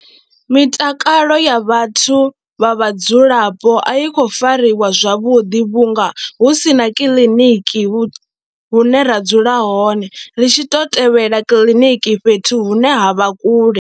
Mitakalo ya vhathu vha vhadzulapo a yi khou fariwa zwavhuḓi vhunga hu si na kiḽiniki hune ra dzula hone ri tshi tou tevhela kiḽiniki fhethu hune ha vha kule.